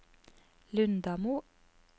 Lundamo